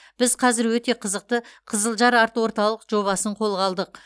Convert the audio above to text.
біз қазір өте қызықты қызылжар арт орталық жобасын қолға алдық